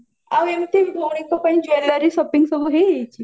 ଆଉ ଏମତି ଭଉଣୀଙ୍କ ପାଇଁ jewelry shopping ସବୁ ହେଇଯାଇଚି